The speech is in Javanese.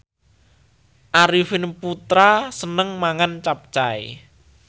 Arifin Putra seneng mangan capcay